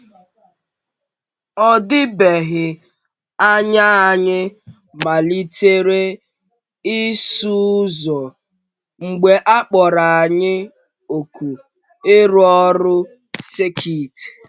Ọ dịbeghị anya anyị malitere ịsụ ụzọ mgbe a kpọrọ anyị òkù ịrụ ọrụ sekit.